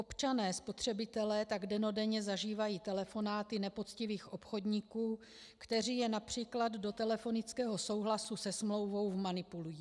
Občané spotřebitelé tak dennodenně zažívají telefonáty nepoctivých obchodníků, kteří je například do telefonického souhlasu se smlouvou vmanipulují.